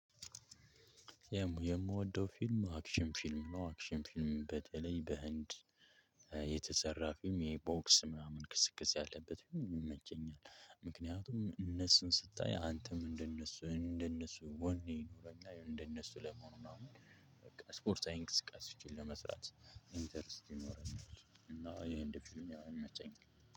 የምወደው ፊልም አክሽን ፊልም ነው። አክሽን ፊልም በተለይ በህንድ የተሰራ ፊልም የቦክስ ምናምን ክስክስ ያለበት ፊልም ይመቸኛል። ምክንያቱም እነሱን ስታይ አንተም እንደነሱ እንደነሱ ወኔ ይኖረኛል እንደነሱ ለመሆኑ ምናምን በቃ ስፖርታዊ እንቅስቃሴ ለመስራት ኢንተርኔት ይኖረናል። እና የህንድ ፊልም ያው ይመቸኛል።